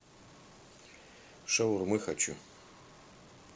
шаурмы хочу